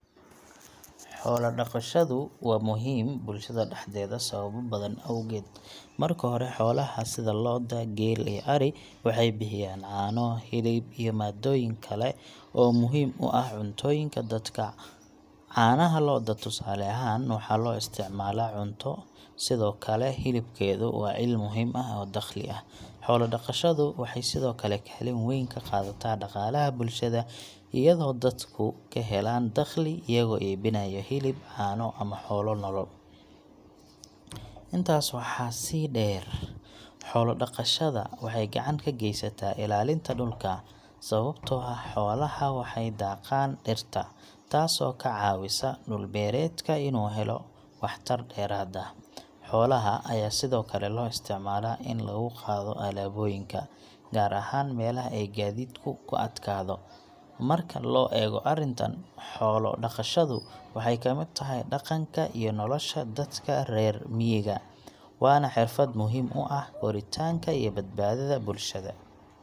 Xoolo dhaqashadu waa muhiim bulshada dhexdeeda sababo badan awgeed. Marka hore, xoolaha sida lo’da, geel, iyo ari waxay bixiyaan caano, hilib, iyo maaddooyin kale oo muhiim u ah cuntooyinka dadka. Caanaha lo’da, tusaale ahaan, waxaa loo isticmaalaa cunto, sidoo kale hilibkoodu waa il muhiim ah oo dakhli ah. Xoolo dhaqashadu waxay sidoo kale kaalin weyn ka qaadataa dhaqaalaha bulshada, iyadoo dadku ka helaan dakhli iyagoo iibinaya hilib, caano, ama xoolo nool. Intaas waxaa sii dheer, xoolo dhaqashada waxay gacan ka geysataa ilaalinta dhulka, sababtoo ah xoolaha waxay daaqaan dhirta, taasoo ka caawisa dhul-beereedka inuu helo waxtar dheeraad ah. Xoolaha ayaa sidoo kale loo isticmaalaa in lagu qaado alaabooyinka, gaar ahaan meelaha ay gaadiidku ku adkaado. Marka loo eego arrintan, xoolo dhaqashadu waxay ka mid tahay dhaqanka iyo nolosha dadka reer miyiga, waana xirfad muhiim u ah koritaanka iyo badbaadada bulshada.